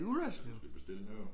Med mindre du skal bestille noget